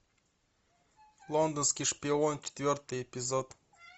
лондонский шпион четвертый эпизод